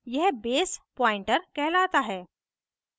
यह base pointer कहलाता है